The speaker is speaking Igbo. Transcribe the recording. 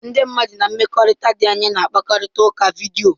Ndị mmadụ na mmekọrịta dị anya na-akparịta ụka vidiyo.